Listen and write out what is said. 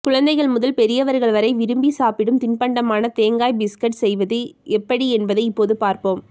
குழந்தைகள் முதல் பெரியவர்கள் வரை விரும்பி சாப்பிடும் தின்பண்டமான தேங்காய் பிஸ்கட் செய்வது எப்படி என்பதை இப்போது பார்ப்போம்